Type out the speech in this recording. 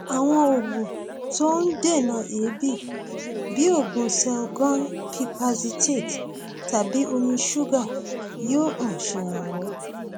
àwọn oògùn tó ń dènà èébì bí oògùn selgon pipazethate tàbí omi ṣúgà yóò um ṣèrànwọ